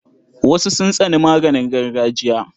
Wasu sun tsani maganin gargajiya.